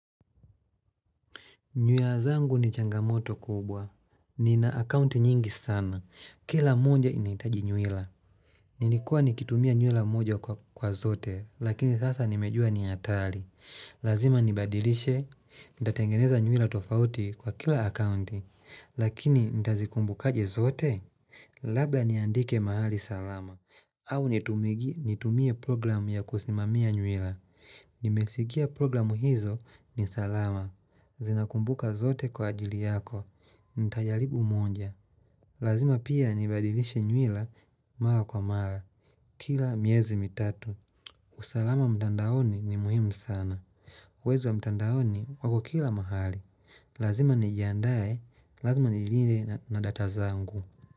Nyuia zangu ni changamoto kubwa. Nina akaunti nyingi sana. Kila moja inaitaji nywila. Nilikuwa nikitumia nyuila moja kwa zote, lakini sasa nimejua ni atali. Lazima nibadilishe, nitatengeneza nyuila tofauti kwa kila akaunti, lakini nitazikumbu kaje zote, labla niandike mahali salama. Au nitumigi nitumie programu ya kusimamia nywila. Nimesikia programu hizo ni salama. Zinakumbuka zote kwa ajili yako. Ntajalibu moja. Lazima pia nibadilishe nywila mara kwa mara. Kila miezi mitatu. Usalama mtandaoni ni muhimu sana. Wezi wa mtandaoni wako kila mahali. Lazima nijiandaye. Lazima nilinde na data zangu.